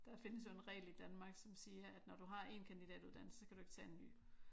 Der findes jo en regel i Danmark som siger at når du har en kandidatuddannelse så kan du ikke tage en ny